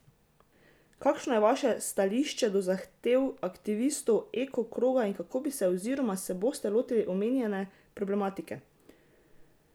Kakšno je vaše stališče do zahtev aktivistov Eko kroga in kako bi se oziroma se boste lotili omenjene problematike?